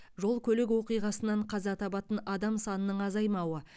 жол көлік оқиғасынан қаза табатын адам санының азаймауы